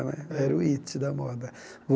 Era o hit da moda.